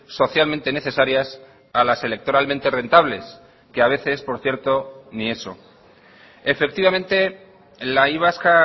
socialmente necesarias a las electoralmente rentables que a veces por cierto ni eso efectivamente la y vasca